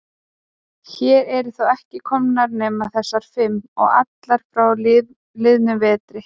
Hér eru þó ekki komnar nema þessar fimm. og allar frá liðnum vetri.